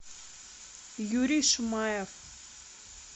юрий шмаев